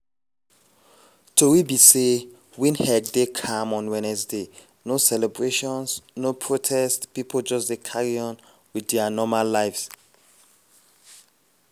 tori be say windhoek dey calm on wednesday no celebrations no protests pipo just dey carry on wit dia normal lives.